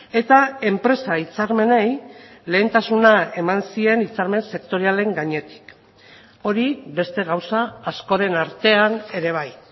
eta enpresa hitzarmenei lehentasuna eman zien hitzarmen sektorialen gainetik hori beste gauza askoren artean ere bai